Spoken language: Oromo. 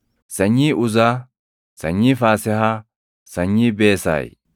sanyii Uzaa, sanyii Faasehaa, sanyii Beesaay;